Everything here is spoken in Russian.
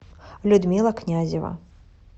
людмила князева